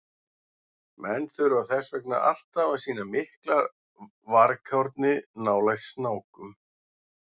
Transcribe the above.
Menn þurfa þess vegna alltaf að sýna miklar varkárni nálægt snákum.